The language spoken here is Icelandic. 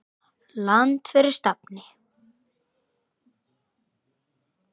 Land fyrir stafni!